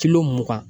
kilo mugan